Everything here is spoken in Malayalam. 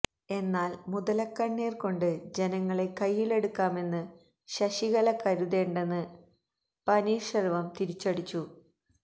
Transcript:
എന്നാല് മുതലക്കണ്ണീര് കൊണ്ട് ജനങ്ങളെ കയ്യിലെടുക്കാമെന്ന് ശശികല കരുതേണ്ടെന്ന് പനീര്ശെല്വം തിരിച്ചടിച്ചു